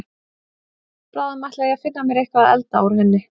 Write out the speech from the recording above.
Bráðum ætla ég að finna mér eitthvað að elda úr henni.